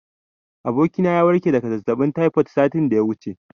Abokina ya warke daga zazzaɓin taifod satin da ya wuce.